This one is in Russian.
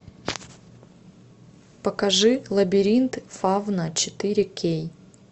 покажи лабиринт фавна четыре кей